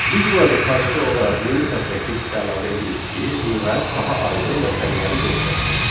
Biz burada sadəcə olaraq yeni sətrə keçid əlavə edirik ki, lüğət daha aydın və səliqəli görsənsin.